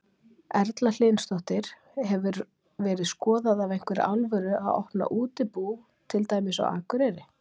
Erla Hlynsdóttir: Hefur verið skoðað af einhverri alvöru að opna útibú, til dæmis á Akureyri?